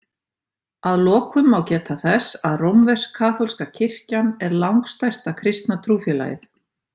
Að lokum má geta þess að rómversk-kaþólska kirkjan er langstærsta kristna trúfélagið.